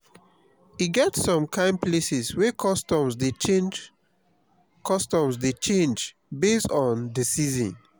e get som kain places wey customs dey change customs dey change based on de season